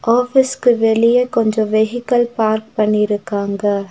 ஆஃபீஸ்கு வெளிய கொஞ்சோ வெஃகிகள் பார்க் பண்ணிருக்காங்க.